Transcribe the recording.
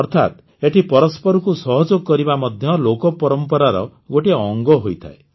ଅର୍ଥାତ୍ ଏଠି ପରସ୍ପରକୁ ସହଯୋଗ କରିବା ମଧ୍ୟ ଲୋକପରମ୍ପରାର ଗୋଟିଏ ଅଙ୍ଗ ହୋଇଥାଏ